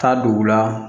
Taa dugu la